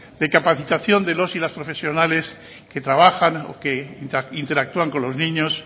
de capacitación de los y las profesionales que trabajan e interactúan con los niños